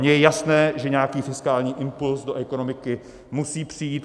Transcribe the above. Mně je jasné, že nějaký fiskální impuls do ekonomiky musí přijít.